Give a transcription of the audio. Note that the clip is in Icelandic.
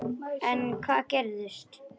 En hvað gerist.